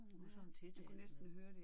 Og så med til